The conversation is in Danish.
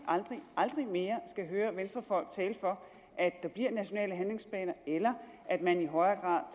aldrig mere skal høre venstrefolk tale for at der bliver nationale handlingsplaner eller at man i højere